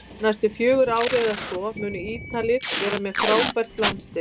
Næstu fjögur ár eða svo munu Ítalir vera með frábært landslið